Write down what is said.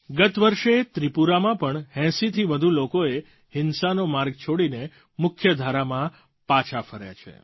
ગત વર્ષે ત્રિપુરામાં પણ 80થી વધુ લોકો હિંસાનો માર્ગ છોડીને મુખ્ય ધારામાં પાછા ફર્યા છે